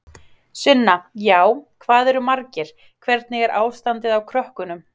Sunna: Já, hvað eru margir, hvernig er ástandið á krökkunum?